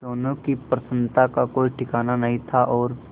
दोनों की प्रसन्नता का कोई ठिकाना नहीं था और